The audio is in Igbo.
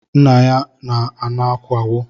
Nna ya n'ana akawo